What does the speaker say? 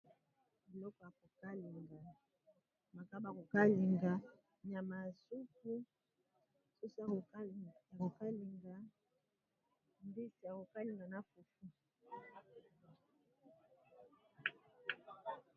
Biloko ya kokalinga makayabu ya kokalinga nyama ya supu soso ya kokalinga mbisi ya kokalinga na fufu.